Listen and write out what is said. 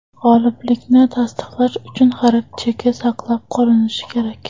G‘oliblikni tasdiqlash uchun xarid cheki saqlab qolinishi kerak.